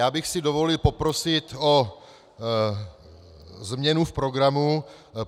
Já bych si dovolil poprosit o změnu v programu.